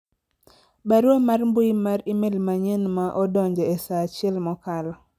barua mar mbui mar email manyien ma odonje e saa achiel mokalo